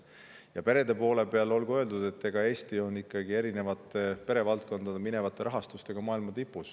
Ja perede poole kohta olgu öeldud, et Eesti on peredele mineva rahastuse poolest maailma tipus.